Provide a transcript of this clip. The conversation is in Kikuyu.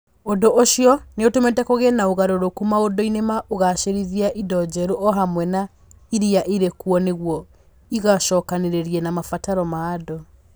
Ũndũ ũcio nĩ ũtũmĩte kũgĩe na ũgarũrũku maũndũ-inĩ na ũgaacĩrithia indo njerũ o hamwe na iria irĩ kuo nĩguo igĩcokanĩrĩre na mabataro ma andũ.